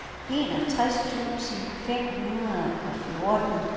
enogtres tusind fem hundrede og fjorten